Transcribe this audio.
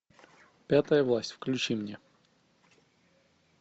пятая власть включи мне